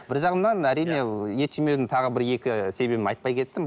бір жағынан әрине ет жемеудің тағы бір екі себебін айтпай кеттім